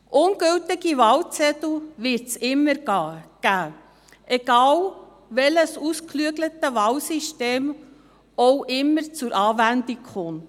Ungültige Wahlzettel wird es immer geben, ungeachtet dessen, welches ausgeklügelte Wahlsystem auch immer zur Anwendung kommt.